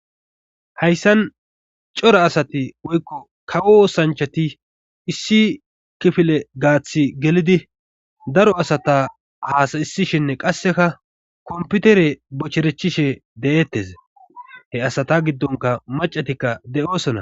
Hayssan cora asati woykko kawo oosanchati issi kifile gaathi gelidi daro asata haasayisishinne qasseka komputere bocherechishe de'eettes he asata giddonka macatikka de'oosona.